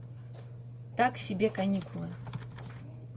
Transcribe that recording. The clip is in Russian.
так себе каникулы